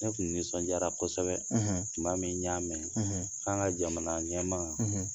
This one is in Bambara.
Ne kun nisɔndiayra kosɛbɛ; ; Tun m' a min n ŋamɛn,' k'an ka jamana ɲɛma;